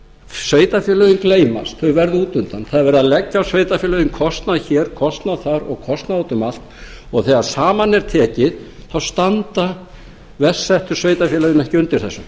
sveitarfélögin gleymast þau verða út undan það er verið að leggja á sveitarfélögin kostnað hér kostnað þar og kostnað út um allt og þegar saman er tekið þá standa verst settu sveitarfélögin ekki undir þessu